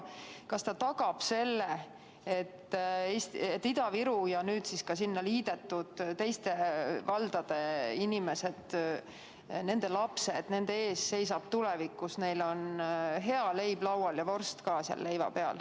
Kas see tagab selle, et Ida-Viru ja nüüd siis ka sellega liidetud teiste valdade inimestel ja nende lastel on tulevikus hea leib laual ja ka vorst leiva peal?